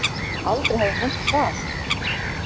Aldrei hafði hún nefnt það.